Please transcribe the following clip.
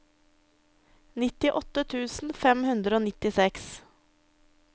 nittiåtte tusen fem hundre og nittiseks